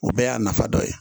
O bɛɛ y'a nafa dɔ ye